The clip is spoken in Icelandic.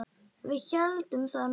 Við héldum það nú.